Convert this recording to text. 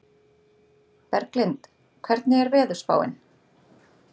Berglind, hvernig er veðurspáin?